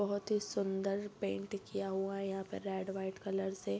बहुत ही सुन्दर पेंट किया हुआ है यहाँ पर रेड व्हाइट कलर से --